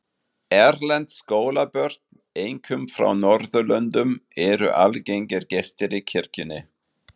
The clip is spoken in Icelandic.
Erlend skólabörn, einkum frá Norðurlöndum, eru algengir gestir í kirkjunni.